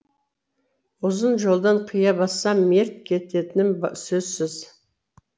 ұзын жолдан қия бассам мерт кететінім сөзсіз